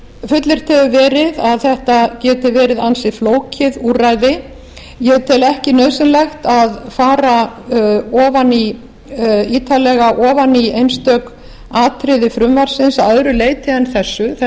fullyrt hefur verið að þetta geti verið ansi flókið úrræði ég tel ekki nauðsynlegt að fara ítarlega ofan í einstök atriði frumvarpsins að öðru leiti en þessu þetta